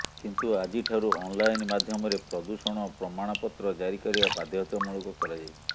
କିନ୍ତୁ ଆଜି ଠାରୁ ଅନ୍ଲାଇନ୍ ମାଧ୍ୟମରେ ପ୍ରଦୂଷଣ ପ୍ରମାଣପତ୍ର ଜାରି କରିବା ବାଧ୍ୟତାମୂଳକ କରାଯାଇଛି